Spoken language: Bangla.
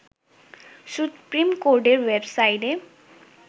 সুপ্রিম কোর্টের ওয়েবসাইটে